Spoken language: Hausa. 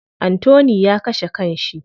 Anthony ya kashe kan shi.